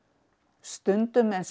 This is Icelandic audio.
stundum eins og